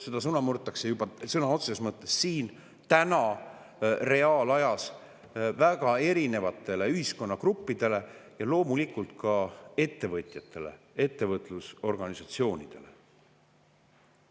Seda sõna murtakse juba sõna otseses mõttes siin täna reaalajas väga erinevatele ühiskonnagruppidele ning loomulikult ka ettevõtjatele ja ettevõtlusorganisatsioonidele.